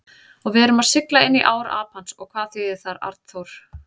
Og við erum að sigla inní ár Apans og hvað þýðir það, Arnþór?